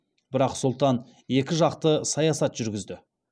бірақ сұлтан екі жақты саясат жүргізді